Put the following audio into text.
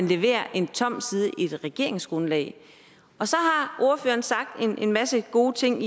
leverer en tom side i et regeringsgrundlag og så har ordføreren sagt en en masse gode ting